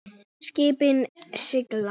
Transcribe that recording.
Skipin sigla.